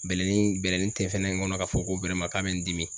Bɛlɛnin bɛlɛnin tɛ fɛnɛ ŋɔnɔ k'a fɔ ko k'a bɛ n dimi.